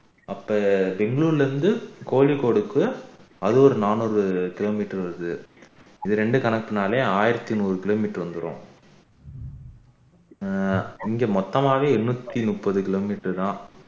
அப்ப பெங்களூர்ல இருந்து கோழிக்கோடுக்கு அது ஒரு நானூறு kilometer வருது இது இரண்டு கணக்கினாலே ஆயிரத்து நூறு kilometer வந்துரும் ஆஹ் இங்க மொத்தமாவே எண்நூத்தி முப்பது kilometer தான்